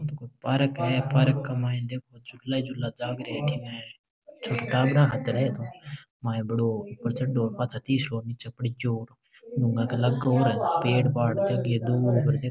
पार्क है पार्क में झूला झूला झाल रहे है छोटे टाबरा खातर है ये तो माये बढ़ो ऊपर चढ़ो पाछा तीसळो नीचे पड़ जाओ डूंगा के लागे और है पेड़ पाड़ --